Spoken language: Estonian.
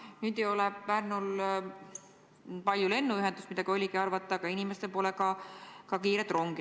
Kuid nüüd ei ole Pärnul ei erilist lennuühendust, mida oligi arvata, ega ka kiiret rongi.